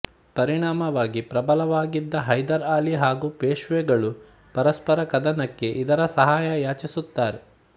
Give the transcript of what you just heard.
ಪರಿಣಾಮವಾಗಿ ಪ್ರಬಲವಾಗಿದ್ದ ಹೈದರ್ ಅಲಿ ಹಾಗು ಪೇಶ್ವೆಗಳು ಪರಸ್ಪರ ಕದನಕ್ಕೆ ಇದರ ಸಹಾಯ ಯಾಚಿಸುತ್ತಾರೆ